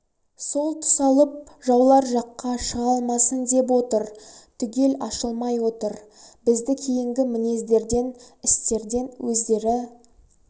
сол тұсалып жаулар жаққа шыға алмасын деп отыр түгел ашылмай отыр бізді кейінгі мінездерден істерден өздері